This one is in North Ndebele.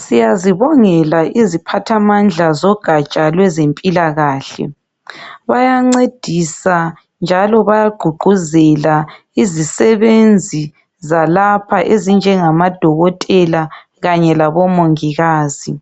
Siyazibongela iziphathamandla zogatsha lweze mpilakahle. Bayancedisa njalo baya gqugquzela izisebenzi zalapha. Ezinje ngama dokotela Kanye labo mongikazi.